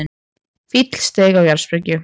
Fíll steig á jarðsprengju